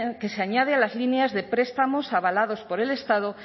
que se añade a las líneas de prestamos avalados por el estado